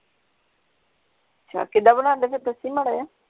ਅੱਛਾ ਕਿਦਾਂ ਬਣਾਂਦੇ ਫੇਰ ਦੱਸੀ ਮਾੜਾ ਜੇਹਾ।